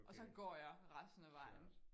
Og så går jeg resten af vejen